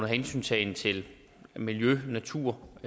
hensyntagen til miljø natur